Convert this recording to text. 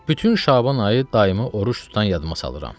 Bütün Şaban ayı daimi oruc tutan yadıma salıram.